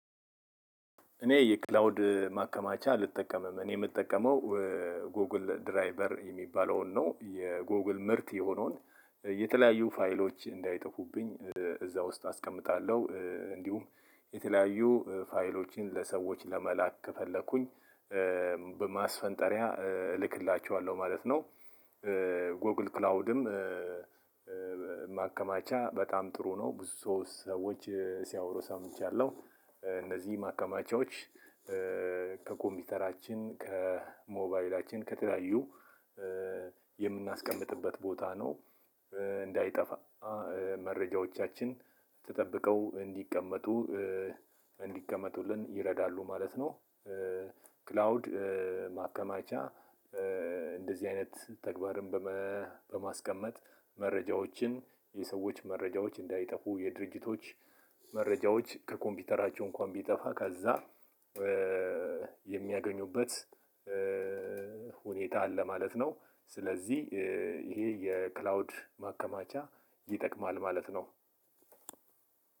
እኔ የክላውድ ማከማቻ አልጠቀምም። እኔ የምጠቀመው ጎግል ድራይበር። የሚባለውን ነው የጎግል ምርት የሆነውን የተለያዩ ፋይሎች እንዳይጠፉብኝ እዛ ውስጥ አስቀምጣለሁ እንዲሁም የተለያዩ ፋይሎችን ለሰዎች ለመላክ ከፈለኩኝ በማስፈንጠሪያ እልክላችኋለሁ ማለት ነው። ጎግል ክላውድም ማከማቻ በጣም ጥሩ ነው። ብዙ ሰዎች ሲያወሩ ሰምቻለሁ። እነዚህ ማከማቻዎች ከኮምፒውተራችን፤ ከሞባይላችን፤ ከተለያዩ የምናስቀምጥበት ቦታ ነው። እንዳይጠፋ መረጃዎቻችን ተጠብቀው እንዲቀመጡ እንዲቀመጡልን ይረዳሉ ማለት ነው። ክላውድ ማከማቻ እንደዚህ አይነት ተግባርን በማስቀመጥ መረጃዎችን የሰዎች መረጃዎች እንዳይጠፉ የድርጅቶች መረጃዎች ከኮምፒውተራቸው እንኳን ቢጠፋ ከዛ የሚያገኙበት ሁኔታ አለ ማለት ነው። ስለዚህ ይሄ የክላውድ ማከማቻ ይጠቅማል ማለት ነው።